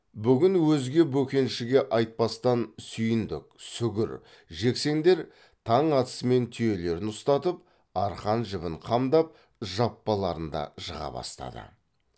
бүгін өзге бөкеншіге айтпастан сүйіндік сүгір жексендер таң атысымен түйелерін ұстатып арқан жібін қамдап жаппаларын да жыға бастады